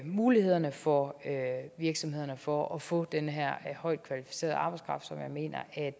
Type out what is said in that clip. mulighederne for virksomhederne for at få den her højt kvalificerede arbejdskraft som jeg mener at